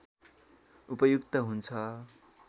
उपयुक्त हुन्छ